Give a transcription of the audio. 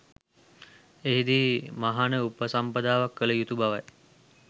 එහිදී මහණ උපසම්පදාවක් කළ යුතු බවයි.